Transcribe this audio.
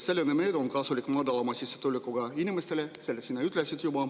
Selline meede on kasulik madalama sissetulekuga inimestele, seda sa juba ütlesid.